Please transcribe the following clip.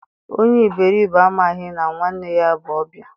Onye iberibe amaghị na nwanne ya bụ ọbịa